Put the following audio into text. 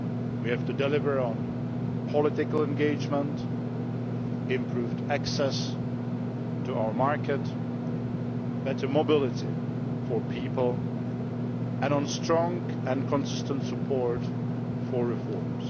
We have to deliver on political engagement, improved access to our market, better mobility for people and strong and consistent support for reforms.